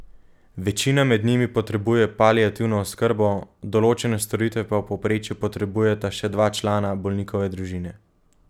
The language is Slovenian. Večina med njimi potrebuje paliativno oskrbo, določene storitve pa v povprečju potrebujeta še dva člana bolnikove družine.